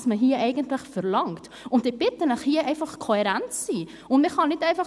Ich bitte Sie, hier kohärent zu sein!